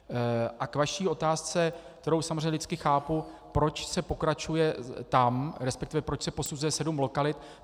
A k vaší otázce, kterou samozřejmě lidsky chápu, proč se pokračuje tam, respektive proč se posuzuje sedm lokalit.